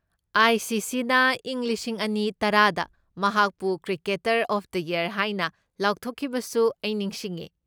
ꯑꯥꯏ.ꯁꯤ.ꯁꯤ.ꯅ ꯏꯪ ꯂꯤꯁꯤꯡ ꯑꯅꯤ ꯇꯔꯥꯗ ꯃꯍꯥꯛꯄꯨ 'ꯀ꯭ꯔꯤꯀꯦꯇꯔ ꯑꯣꯐ ꯗ ꯌꯔ' ꯍꯥꯏꯅ ꯂꯥꯎꯊꯣꯛꯈꯤꯕꯁꯨ ꯑꯩ ꯅꯤꯡꯁꯤꯡꯉꯦ꯫